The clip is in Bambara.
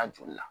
A joli la